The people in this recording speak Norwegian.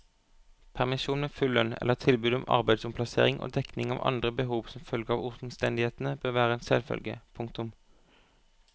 Permisjon med full lønn eller tilbud om arbeidsomplassering og dekning av andre behov som følge av omstendighetene bør være en selvfølge. punktum